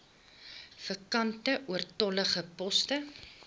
vakante oortollige poste